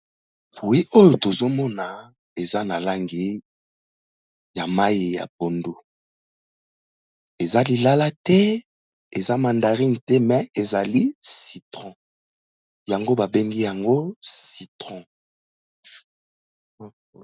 Fruit oyo tozo mona eza na langi ya mayi ya pondu. Eza lilala te, eza mandarine te, me ezali citron yango ba bengi yango citron.